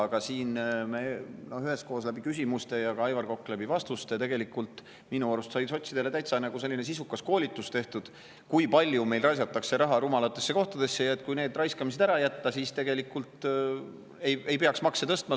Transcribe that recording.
Aga siis sai üheskoos küsimuste ja ka Aivar Koka vastuste abil minu arust sotsidele täitsa sisukas koolitus tehtud, kui palju meil raisatakse raha rumalatesse kohtadesse ja et kui need raiskamised ära jätta, siis tegelikult ei peaks makse tõstma.